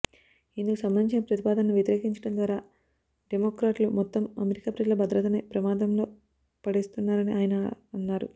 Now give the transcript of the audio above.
ఇందుకు సంబంధించిన ప్రతిపాదనను వ్యతిరేకించడం ద్వారా డెమోక్రాట్లు మొత్తం అమెరికా ప్రజల భద్రతనే ప్రమాదంలో పడేస్తున్నారని ఆయన అన్నారు